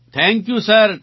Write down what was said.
thank you sir